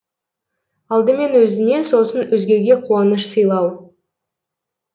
алдымен өзіне сосын өзгеге қуаныш сыйлау